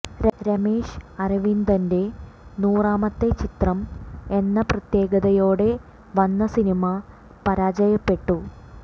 രമേഷ് അരവിന്ദന്റെ നൂറാമത്തെ ചിത്രം എന്ന പ്രത്യേകതയോടെ വന്ന സിനിമ പരാജയപ്പെട്ടു